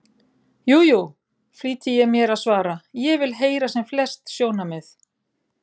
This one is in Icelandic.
Jú, jú, flýti ég mér að svara, ég vil heyra sem flest sjónarmið.